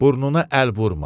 Burnuna əl vurma.